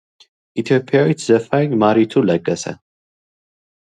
ኢትዮጵያዊት ዘፋኝ ማሪቱ ለገሰ